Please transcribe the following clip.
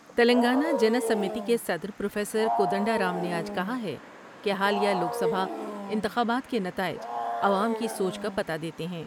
تلنگانہ جنائمیتی کے صدر پروفیسر کودنڈ ارام نے آج کہا ہے کہ حالیہ لوک سبھا انتخابات کے نتائج عوام کی سوچ کا پتہ دیتے ہیں ۔